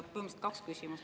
Nii et kaks küsimust.